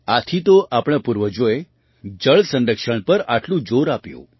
આથી તો આપણા પૂર્વજોએ જળ સંરક્ષણ પર આટલું જોર આપ્યું